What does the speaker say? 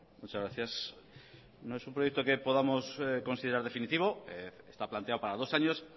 muchas gracias no es un proyecto que podamos considerar definitivo está planteado para dos años